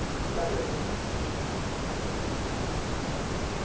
ਚੰਗਾ ਜੀ ਚੰਗਾ।